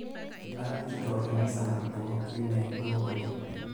Ajutito emisa natubukokine duo kule.